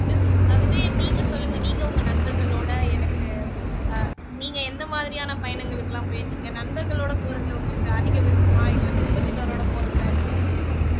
ஆஹ் விஜயன் நீங்க சொல்லுங்க நீங்க உங்க நண்பர்களோட எனக்கு ஆஹ் நீங்க எந்த மாதிரியான பயணங்களுக்கெல்லாம் போயிருக்கிங்க நண்பர்களோட போறதுல உங்களுக்கு அதிக விருப்பமா இல்ல குடும்பத்தினரோட போறதுல அதிக விருப்பமா